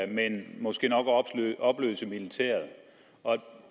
men måske nok opløse militæret